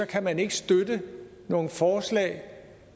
kan man ikke støtte nogen forslag